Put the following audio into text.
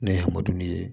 Ne ye hamadu ye